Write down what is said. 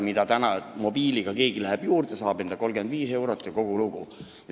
Täna läheb keegi mobiiliga sinna juurde, saab pildi eest 35 eurot ja kogu lugu.